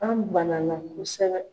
An bana na kosɛbɛ.